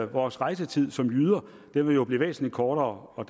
vores rejsetid som jyder jo blive væsentlig kortere og